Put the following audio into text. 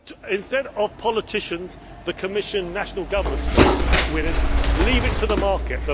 Instead of politicians, the Commission or national governments trying to pick winners, leave it to the market.